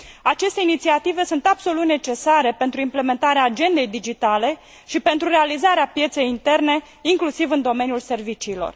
Aceste inițiative sunt absolut necesare pentru implementarea agendei digitale și pentru realizarea pieței interne, inclusiv în domeniul serviciilor.